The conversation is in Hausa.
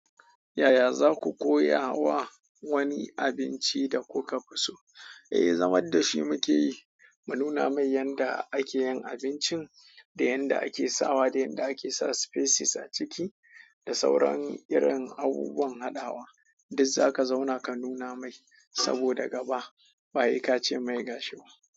Yaya za ku koya wa wani abinci da kuka fi so? Eh, zamad da shi muke yi. Ma nuna mai yanda ake yin abincin, da yanda ake sawa, da yanda ake sa spices a ciki, da sauran irin abubuwan haɗawa. Duz zaka zauna ka nuna mai, saboda gaba ba, he ka cemai gashi ba.